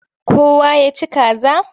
Kowa ya ci kaza?